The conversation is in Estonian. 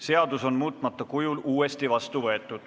Seadus on muutmata kujul uuesti vastu võetud.